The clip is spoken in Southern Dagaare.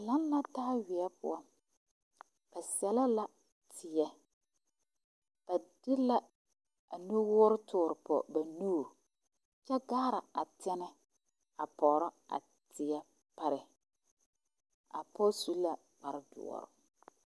Laŋ la taa weɛ poɔ ba sɛl lɛ la teɛ ba de la nuwoore tɔɔre pɔŋ ba nuuri kyɛ gaara a tɛnɛ pɔgro a teɛ pare a pɔge su la kpare zeɛ